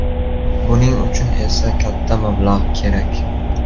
Buning uchun esa katta mablag‘ kerak.